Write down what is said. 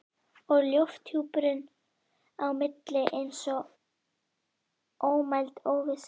Hitaveita Dalabyggðar formlega ræst af iðnaðarráðherra í dæluhúsinu við Fellsenda.